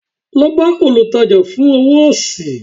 lọ bá olùtajà fún owó sí